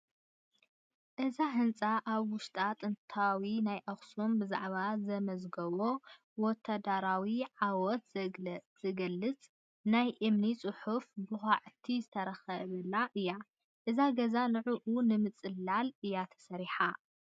እዛ ህንፃ ኣብ ውሽጣ ጥንታዊ ናይ ኣኽሱም ብዛዕባ ዘመዝገቦ ወታደራዊ ዓወት ዝገልፅ ናይ እምኒ ፅሑፍ ብዃዕቲ ዝተረኸበላ እያ፡፡ እዛ ገዛ ንዑኡ ንምፅላል እያ ተሰሪሐ፡፡